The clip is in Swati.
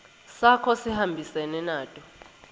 sakho sihambisene nato